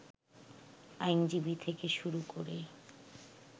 আইনজীবী থেকে শুরু করে